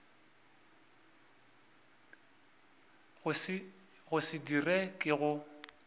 go se dira ke go